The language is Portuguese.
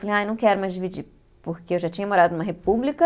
Ai, não quero mais dividir, porque eu já tinha morado numa república.